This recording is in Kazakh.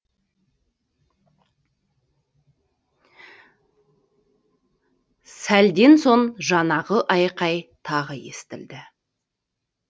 сәлден соң жаңағы айқай тағы естілді